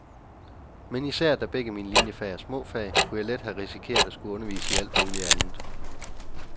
Men især da begge mine liniefag er små fag, kunne jeg let have risikeret at skulle undervise i alt muligt andet.